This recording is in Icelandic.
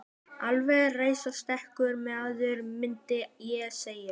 Alveg sérstakur maður, mundi ég segja.